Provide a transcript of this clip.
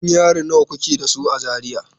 Gidan yari nawa kuke da su a Zaria?